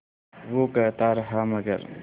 वो कहता रहा मगर